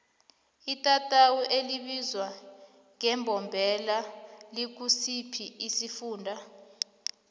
itatawu elibizwa ngembombela likusiphi isifunda